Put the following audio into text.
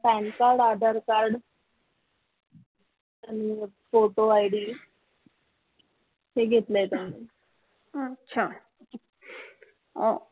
PAN card Aadhaar card hmm photo ID ते घेतलंय त्यांनी अह